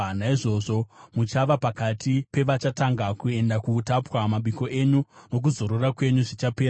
Naizvozvo muchava pakati pevachatanga kuenda kuutapwa; mabiko enyu nokuzorora kwenyu zvichapera.